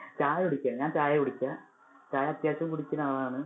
ചായ കുടിക്കാണ്. ഞാന്‍ ചായ കുടിക്യാ. ചായ അത്യാവിശം കുടിക്കുന്ന ആളാണ്